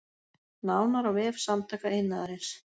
Nánar á vef Samtaka iðnaðarins